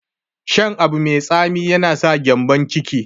Shan abu mai tsami yana saka gyambon ciki.